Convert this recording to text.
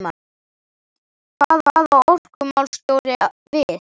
En hvað á orkumálastjóri við?